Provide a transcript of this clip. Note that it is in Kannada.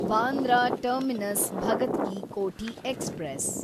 Bandra terminus Bhagat ki Kothi express